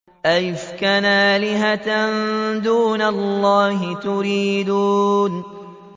أَئِفْكًا آلِهَةً دُونَ اللَّهِ تُرِيدُونَ